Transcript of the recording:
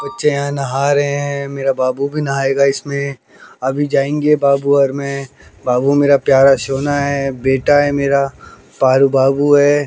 बच्चे यहां नहा रहे हैं मेरा बाबू भी नहाएगा इसमें अभी जाएंगे बाबू और मैं बाबू मेरा प्यारा सोना है बेटा है मेरा पारू बाबू है।